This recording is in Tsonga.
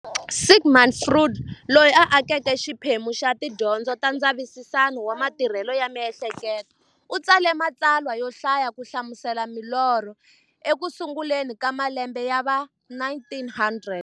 Sigmund Freud, loyi a akeke xiphemu xa tidyondzo ta ndzavisiso wa matirhele ya mi'hleketo, u tsale matsalwa yo hlaya ku hlamusela milorho eku sunguleni ka malembe ya va 1900.